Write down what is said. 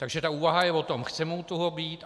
Takže ta úvaha je o tom - chceme u toho být?